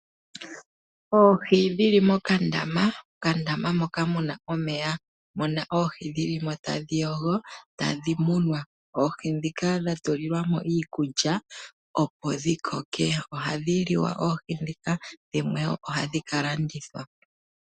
Oohi dhili mokandama, mokandama moka muna omeya, muna oohi dhilimo tadhi yogo, tadhi munwa. Oohi dhika dha tulilwa mo iikulya opo dhikoke, oohi dhika ohadhi liwa, dhimwe ohadhi kalandithwa.